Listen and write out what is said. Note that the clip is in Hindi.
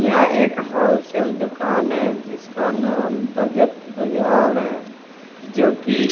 यहां एक होलसेल दुकान है जिसका नाम बजेट बाजार है जो कि--